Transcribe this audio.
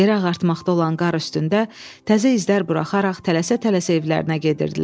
Yerə ağartmaqda olan qar üstündə təzə izler buraxaraq tələsə-tələsə evlərinə gedirdilər.